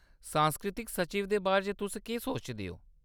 सांस्कृतिक सचिव दे बारे च तुस केह्‌‌ सोचदे ओ ?